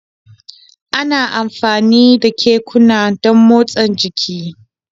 Ana amfani da kekuna don motsa jiki